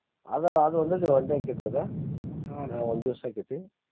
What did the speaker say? ಅದ ಅದ್ ಒಂದ್ day ಆಕ್ಕೆತ ಅದ ಆಹ್ ಒಂದ್ ದಿವ್ಸ ಆಕ್ಕೇತಿ.